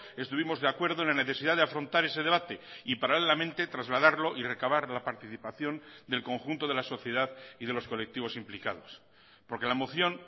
estuvimos de acuerdo en la necesidad de afrontar ese debate y paralelamente trasladarlo y recabar la participación del conjunto de la sociedad y de los colectivos implicados porque la moción